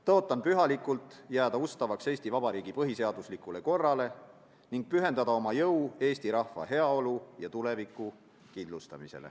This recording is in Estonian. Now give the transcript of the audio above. Tõotan pühalikult jääda ustavaks Eesti Vabariigi põhiseaduslikule korrale ning pühendada oma jõu Eesti rahva heaolu ja tuleviku kindlustamisele.